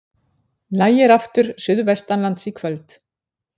Lægir aftur suðvestanlands í kvöld